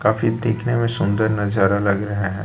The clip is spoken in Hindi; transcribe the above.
काफी दिखने में सुंदर नजारा अलग है।